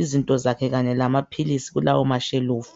izinto zakhe kanye lamaphilisi kulawo mashelufu.